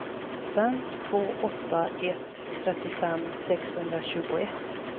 fem två åtta ett trettiofem sexhundratjugoett